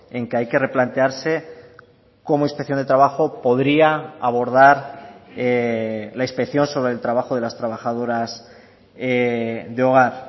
en que hay que replantearse cómo inspección de trabajo podría abordar la inspección sobre el trabajo de las trabajadoras de hogar